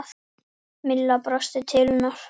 Milla brosti til hennar.